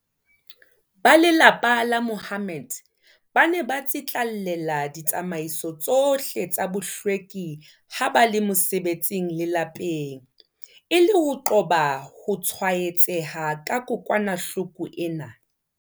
Ba lelapa la Mahommed ba ne ba tsitlallela ditsamaiso tsohle tsa bohlweki ha ba le mosebetsing le lapeng, e le ho qoba ho tshwae-tseha ke kokwa-nahloko ena.